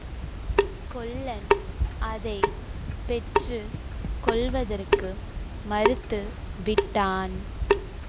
கொல்லன் அதை பெற்று கொள்வதற்கு மறுத்து விட்டான்